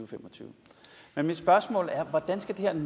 fem og tyve men mit spørgsmål er hvordan skal